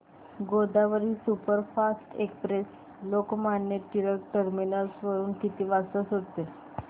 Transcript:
Godavari superfast express Lokmanya Tilak terminus वरून किती वाजता सुटते